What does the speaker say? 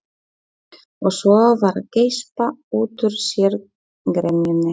Og svo var að geispa út úr sér gremjunni.